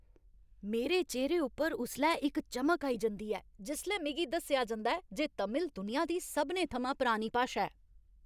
मेरे चेह्‌रे उप्पर उसलै इक चमक आई जंदी ऐ जिसलै मिगी दस्सेआ जंदा ऐ जे तमिल दुनिया दी सभनें थमां पुरानी भाशा ऐ।